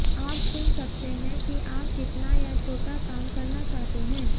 आप चुन सकते हैं कि आप कितना या छोटा काम करना चाहते हैं